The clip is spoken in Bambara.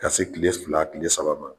Ka se kile fila kile saba ma.